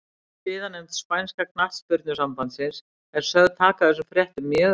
Siðanefnd spænska knattspyrnusambandsins er sögð taka þessum fréttum mjög alvarlega.